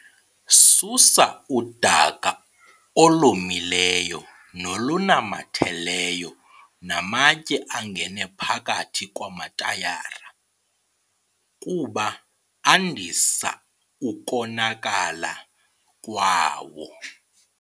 Susa udaka olomileyo nolunamatheleyo namatye angene phakathi kwamatayara, kuba andisa ukonakala kwawo.